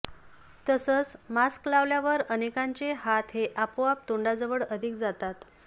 तसंच मास्क लावल्यावर अनेकांचे हात हे आपोआप तोंडाजवळ अधिक जातात